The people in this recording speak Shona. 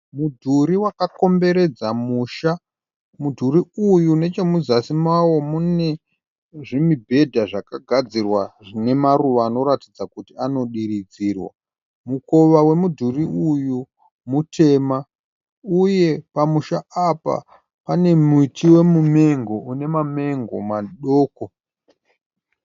Mudhurii wakakomberedza musha. Mudhurii uyu nechemuzasi mawo mune zvimibhedha zvakagadzirwa zvine maruva anoratidza kuti anodiridzirwa. Mukowa wemudhuri uyu mutema. Uye pamusha apa pane muti wemumengo une mamengo madoko.